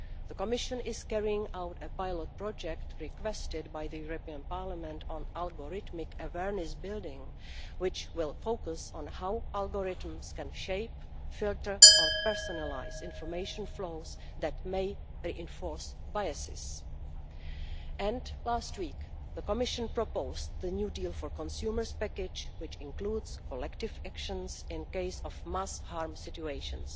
The Commission is carrying out a pilot project requested by the European Parliament on algorithmic awareness building, which will focus on how algorithms can shape, filter or personalise information flows that may reinforce biases. And last week, the Commission proposed the new deal for consumers package, which includes collective actions in case of mass harm situations.